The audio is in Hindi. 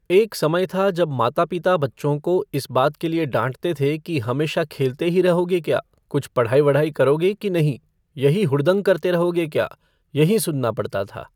एक समय था जब माता पिता बच्चों को इस बात के लिए डांटते थे कि हमेशा खेलते ही रहोगे क्या, कुछ पढ़ाई वढ़ाई करोगे की नहीं, यहीं हुडदंग करते रहोगे क्या, यहीं सुनना पड़ता था।